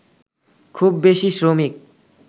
খুব বেশি শ্রমিক